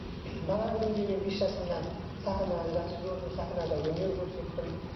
бала күнімде мен бес жасымнан сахнаны жақсы көрдім сахнада өнер көрсеттім